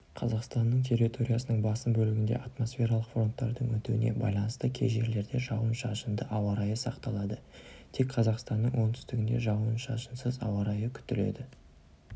қазақстанның территориясының басым бөлігінде атмосфералық фронттардың өтуіне байланысты кей жерлерде жауын-шашынды ауа райы сақталады тек қазақстанның оңтүстігінде жауын-шашынсыз ауа райы күтіледі